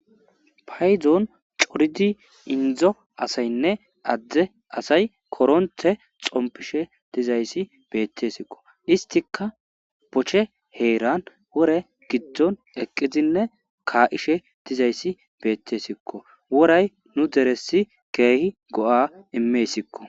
Paydon coridi inddoy assayinne adde assay koronthe xonpishe bethesikko isthikka Boche heran wore gidon eqidine ka'she dizayssi bethesikko worayi worayi nu deresi goo'a immessiko.